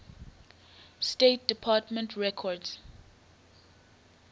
state department records